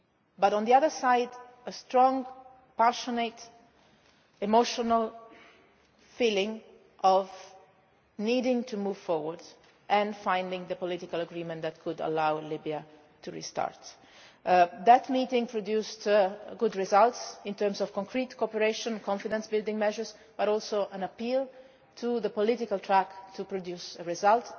meeting. But on the other side there was a strong, passionate, emotional feeling of needing to move forward and finding the political agreement that could allow Libya to restart. That meeting produced good results in terms of concrete cooperation and confidence building measures, and also an appeal to the political track to produce